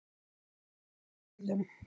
Ábyrgð fylgir orðum.